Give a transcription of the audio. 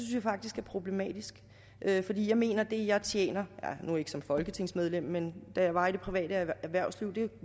jeg faktisk er problematisk fordi jeg mener at det jeg tjener nu ikke som folketingsmedlem men da jeg var i det private erhvervsliv